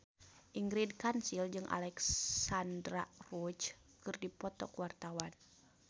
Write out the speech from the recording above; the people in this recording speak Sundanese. Ingrid Kansil jeung Alexandra Roach keur dipoto ku wartawan